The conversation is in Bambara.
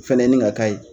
Fɛnɛ ye nin ka ye